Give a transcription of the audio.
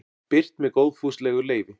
birt með góðfúslegu leyfi